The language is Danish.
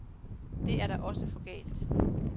Det er da også for galt.